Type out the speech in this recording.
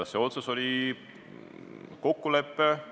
See otsus oli kokkulepe.